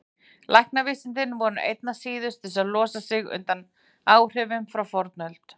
Læknavísindin voru einna síðust til að losa sig undan áhrifum frá fornöld.